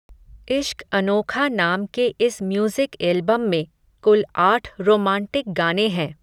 इश्क अनोखा नाम के इस म्यूज़िक एल्बम में, कुल आठ रोमांटिक गाने हैं.